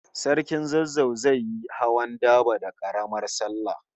Sarkin Zazzau zai yi hawan daba da Karamar sallah